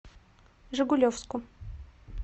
жигулевску